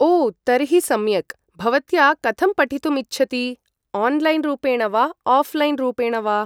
ओ तर्हि सम्यक् भवत्या कथं पठितुमिच्छति ओन्लैन् रूपेण वा ओऴ्लैन् रूपेण वा